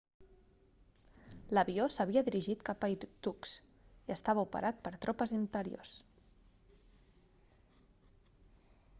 l'avió s'havia dirigit cap a irkutsk i estava operat per tropes interiors